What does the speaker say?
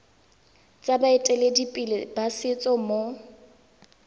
tsa baeteledipele ba setso mo